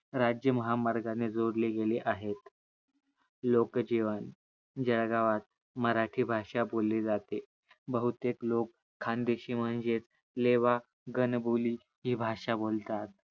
राज्य महामार्गाने जोडले गेले आहेत. लोकजीवंन जळगावात मराठी भाषा बोलली जाते. बहुतेक लोक खान्देशी म्हणजेच लेवा गण बोली हि भाषा बोलतात.